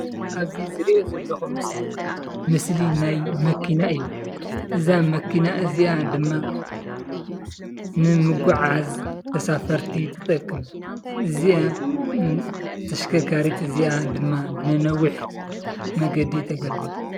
እዚ ዝሪኦ ዘለኹ ምስሊ ናይ መኪና እዩ፡፡ እዛ መኪና እዚኣ ድማ ንምጉዕዓዝ ተሳፈርቲ ትጠቅም፡፡ እዚኣ ተሽከርካሪት እዚኣ ድማ ንነዊሕ መንገዲ ተገልግል፡፡